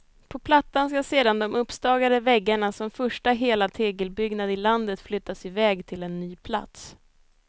På plattan ska sedan de uppstagade väggarna som första hela tegelbyggnad i landet flyttas i väg till en ny plats.